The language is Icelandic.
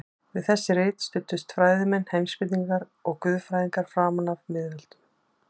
Við þessi rit studdust fræðimenn, heimspekingar og guðfræðingar framan af miðöldum.